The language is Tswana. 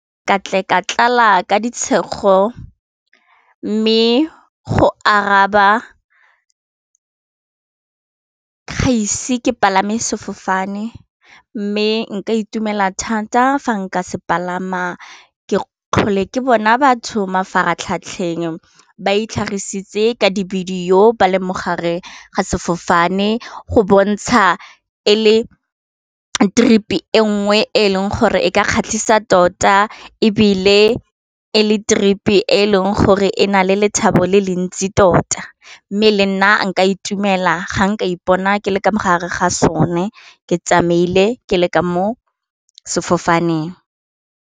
Ka tle ka tlala ka ditshego mme go araba ga ise ke palame sefofane mme nka itumela thata fa nka se palama ke tlhole ke bona batho mafaratlhatlheng ba itlhagisa ka dibidio ba leng mo gare ga sefofane go bontsha e le trip-e nngwe e leng gore e ka kgatlhisa tota e bile e le trip-e, e e leng gore e na le lethabo le le ntsi tota mme le nna nka itumela ga nka ipona ke leka mo gare ga sone ke tsamaile ke le ka mo sefofaneng.